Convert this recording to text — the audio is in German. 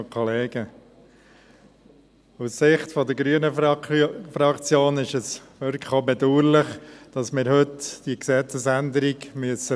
Aus Sicht der grünen Fraktion ist es wirklich auch bedauerlich, dass wir heute diese Gesetzesänderung beraten müssen.